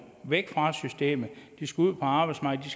væk fra systemet de skal ud på arbejdsmarkedet